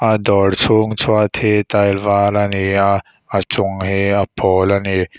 a dawr chhung chhuat hi tile var a ni a a chung hi a pawl a ni.